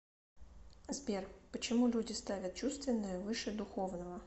сбер почему люди ставят чувственное выше духовного